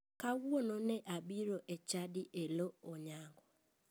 Kawuono ne abiro e chadi e loo onyango.